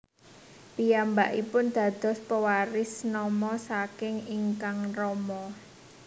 Piyambakipun dados pewaris nama saking ingkang rama